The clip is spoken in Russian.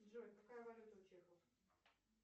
джой какая валюта у чехов